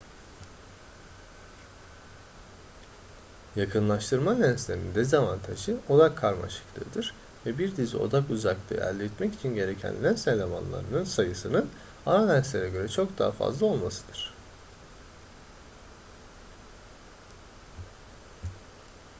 yakınlaştırma lenslerinin dezavantajı odak karmaşıklığıdır ve bir dizi odak uzaklığı elde etmek için gereken lens elemanlarının sayısının ana lenslere göre çok daha fazla olmasıdır